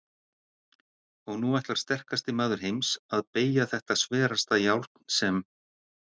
Og nú ætlar sterkasti maður heims að BEYGJA ÞETTA SVERASTA JÁRN SEM